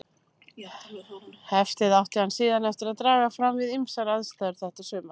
Heftið átti hann síðan eftir að draga fram við ýmsar aðstæður þetta sumar.